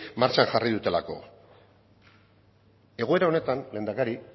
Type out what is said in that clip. martxan jarri dutelako egoera honetan lehendakari